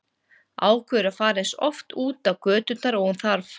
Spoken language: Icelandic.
Ákveður að fara eins oft út á göturnar og hún þarf.